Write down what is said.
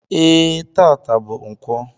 E, taata bú ǹkwọ